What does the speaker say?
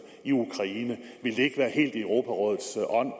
i ukraine ville det ikke være helt i europarådets ånd